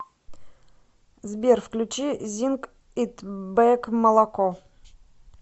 сбер включи зинг ит бэк молоко